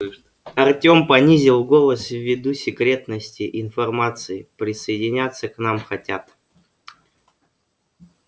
артем понизил голос ввиду секретности информации присоединяться к нам хотят